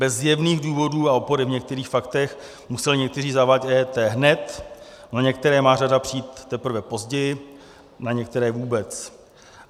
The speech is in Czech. Bez zjevných důvodů a opory v některých faktech museli někteří zavádět EET hned, na některé má řada přijít teprve později, na některé vůbec.